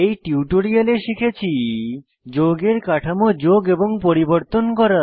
এই টিউটোরিয়ালে শিখেছি যৌগের কাঠামো যোগ এবং পরিবর্তন করা